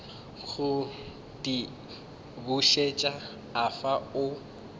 go di bušet afa o